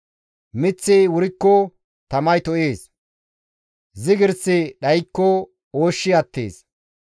Miththi wurikko tamay to7ees; zigirssi dhaykko ooshshi attees.